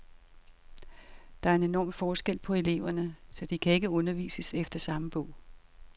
Der er enorm forskel på eleverne, så de kan ikke undervises efter samme bog.